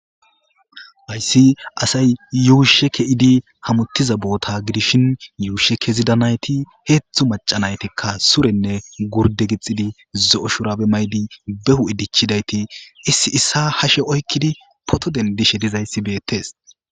ayssi asay yuushe ke7idi hamuttiza boota gidishin yuushe kezidanayti heetztzhu macanaytikka surenne gurde gixxidi zo7o shurabe maydi behu idichidayti issi issa hashe oykkidi potoden dishe dizayssi beettes